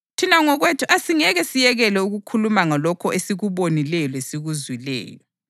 Thina ngokwethu asingeke siyekele ukukhuluma ngalokho esikubonileyo lesikuzwileyo.”